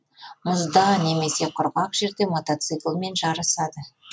мұзда немесе құрғақ жерде мотоциклмен жарысады